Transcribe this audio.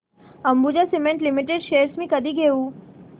Ambuja cement limited shares मी कधी घेऊ